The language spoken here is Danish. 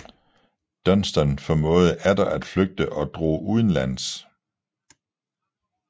Dunstan formåede atter at flygte og drog udenlands